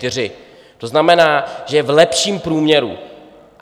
To znamená, že je v lepším průměru.